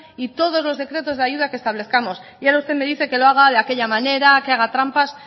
y todos los decretos de ayudas que establezcamos y ahora usted me dice que lo haga de aquella manera que haga trampas